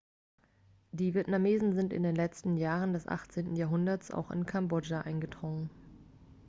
die vietnamesen sind in den letzten jahren des 18. jahrhunderts auch in kambodscha eingedrungen